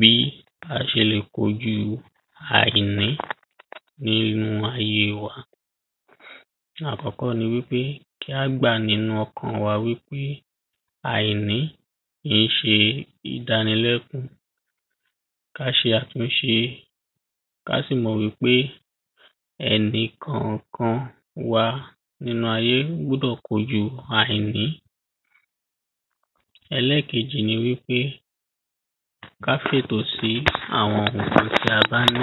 bí a ṣe lè kojú àìní ní inú ayé wa àkọ́kọ́ ni wípé káá gbà nínú ọkàn wa wípé àìní kìíṣe ìdánilẹ́kún ká ṣe àtúnṣe, ká sì mọ̀ wípé ẹnikànkan wa nínú ayé gbọ́dọ̀ kojú àìní ẹlẹ́kejì ni wípé ká fètò sí àwọn ǹkan tí a bá ní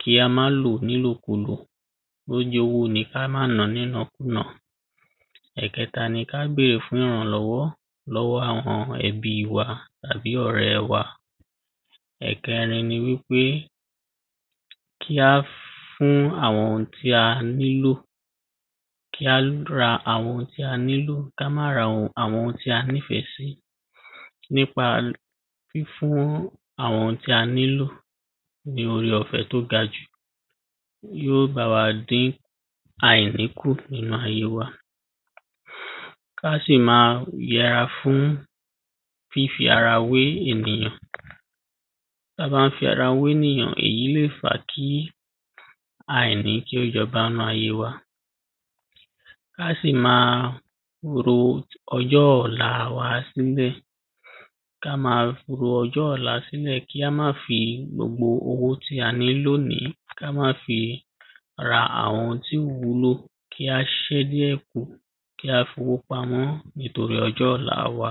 kí á má lòó ní ìlòkúlò, bó jẹ́ owó ní ìná ní ìnákúnà ẹ̀kẹ́ta ni ká bèrè fún ìrànlọ́wọ́ lọ́wọ́ àwọn ẹbí wa tàbí ọ̀rẹ́ wa ẹ̀kẹrin ni wípé kí á fún àwọn ohun tí a nílò, kí á ra àwọn ohun tí a nílò, ká má ra àwọn ohun tí a nífẹ̀ẹ́ sí nipa fífún àwọn ohun tí a nílò ní ore-ọ̀fẹ́ tó ga jù yóò bá wá dìn àìrí kù nínú ayé wa ká sì máa yẹra fún fífi ara wé ènìyàn ta bá ń fi ara wénìyàn, èyí lè fàá kí àìrí kí ó jọba nínú ayé wa ká sì máa ro ọjọ́ ọ̀la wa sílẹ̀ ká ma ro ọjọ́ ọ̀la sílẹ̀, kí á mà fi gbogbo owó lónìí, ká mà fi ra àwọn ohun tí ò wúlò, kí á ṣẹ́ díẹ̀ kù, kí à fowó pamọ́ nítorí ọjọ́ ọ̀la wa